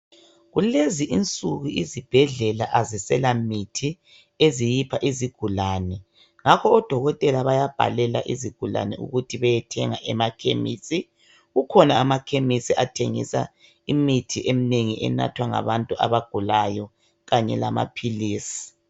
Kulezi insuku izibhedlela azisela mithi eziyipha izigulane ngakho odoķotela bayabhalela izigulane imithi ukuthi bayethenga emakhemisi kukhona amakhemisi athengisa imithi eminengi enathwa ngabantu abagulayo kanye lamaphiisi.